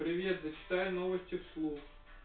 привет зачитай новости вслух